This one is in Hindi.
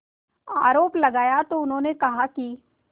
आरोप लगाया तो उन्होंने कहा कि